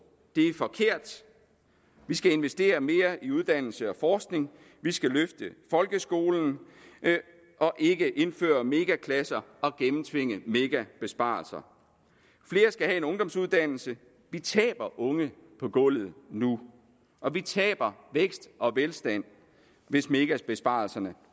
det er forkert vi skal investere mere i uddannelse og forskning vi skal løfte folkeskolen og ikke indføre mega klasser og gennemtvinge mega besparelser flere skal have en ungdomsuddannelse vi taber unge på gulvet nu og vi taber vækst og velstand hvis mega besparelserne